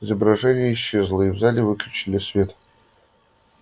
изображение исчезло и в зале выключили свет